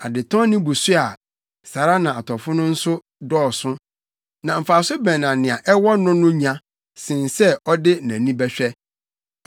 Adetɔnnne bu so a, saa ara na atɔfo no nso dɔɔso. Na mfaso bɛn na nea ɛwɔ no no nya sen sɛ ɔde nʼani bɛhwɛ?